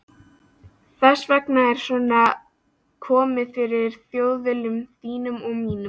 Þess vegna er svona komið fyrir Þjóðviljanum þínum og mínum.